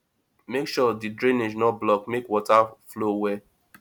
make sure di drainage no block make water flow well